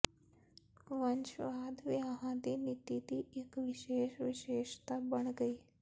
ਵੰਸ਼ਵਾਦ ਵਿਆਹਾਂ ਦੀ ਨੀਤੀ ਦੀ ਇਕ ਵਿਸ਼ੇਸ਼ ਵਿਸ਼ੇਸ਼ਤਾ ਬਣ ਗਈ